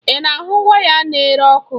Ị na ahụ waya n'ere ọkụ?